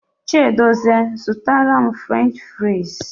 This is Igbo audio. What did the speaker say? Chiedozie zụtara m French fraịz.